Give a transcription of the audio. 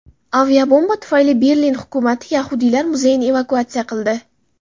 Aviabomba tufayli Berlin hukumati yahudiylar muzeyini evakuatsiya qildi.